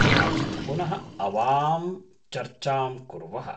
कदाचित् पुनः आवां चर्चां कुर्वः।